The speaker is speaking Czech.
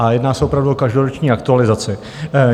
A jedná se opravdu o každoroční aktualizaci.